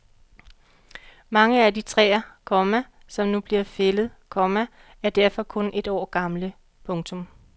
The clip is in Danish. Mange af de træer, komma som nu bliver fældet, komma er derfor kun et år gamle. punktum